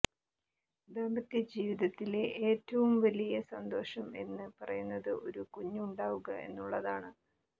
ദാമ്പത്യജീവിതത്തിലെ ഏറ്റവും വലിയ സന്തോഷം എന്ന് പറയുന്നത് ഒരു കുഞ്ഞ് ഉണ്ടാവുക എന്നുള്ളതാണ്